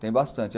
Tem bastante.